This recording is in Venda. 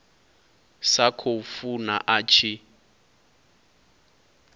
sa khou funa a tshi